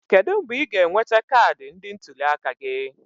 Kedu mgbe ị ga-enweta kaadị ndị ntuli aka gị?